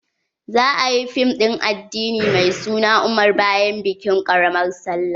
za'a yi fim din addini mai suna umar bayan bikin ƙaramar sallah.